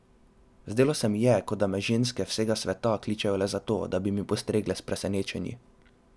Zdelo se mi je, kot da me ženske vsega sveta kličejo le zato, da bi mi postregle s presenečenji.